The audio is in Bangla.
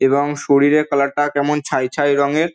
এবং শরীরের কালার -টা কেমন ছাই ছাই রঙের।